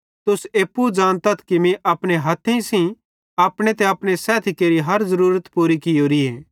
तुस एप्पू ज़ानतथ कि मीं अपने हथेइं सेइं अपने ते अपने सैथी केरि हर अक ज़रूरत पूरी कियोरीए